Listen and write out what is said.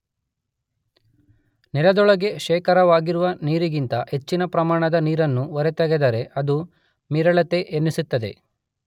ನೆಲದೊಳಗೆ ಶೇಖರವಾಗಿರುವ ನೀರಿಗಿಂತ ಹೆಚ್ಚಿನ ಪ್ರಮಾಣದ ನೀರನ್ನು ಹೊರತೆಗೆದರೆ ಅದು ಮೀರೆಳೆತ ಎನ್ನಿಸುತ್ತದೆ.